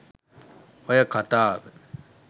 ඔය කතාව